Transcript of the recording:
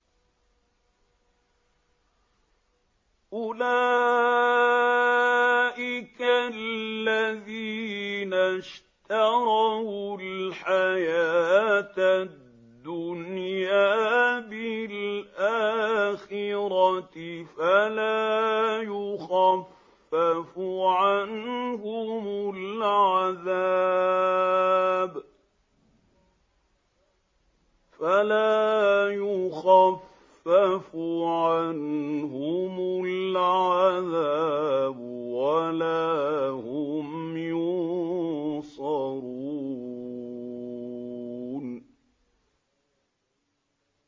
أُولَٰئِكَ الَّذِينَ اشْتَرَوُا الْحَيَاةَ الدُّنْيَا بِالْآخِرَةِ ۖ فَلَا يُخَفَّفُ عَنْهُمُ الْعَذَابُ وَلَا هُمْ يُنصَرُونَ